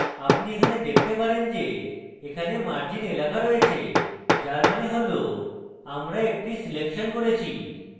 আপনি এখানে দেখতে পারেন যে এখানে margins এলাকা রয়েছে যার means হল আমরা একটি selection করেছি